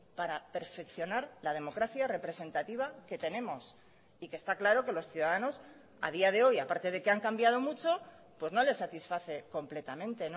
para perfeccionar la democracia representativa que tenemos y que está claro que los ciudadanos a día de hoy a parte de que han cambiado mucho pues no les satisface completamente